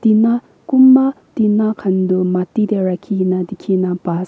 tina konba tina khan du mati tey rakhi kena dikhi na pai ase.